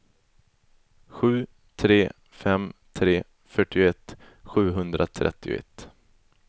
sju tre fem tre fyrtioett sjuhundratrettioett